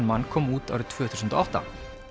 man kom út árið tvö þúsund og átta